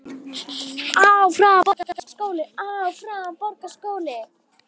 Og hvílík sæla.